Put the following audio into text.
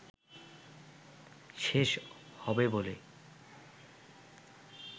শেষ হবে বলে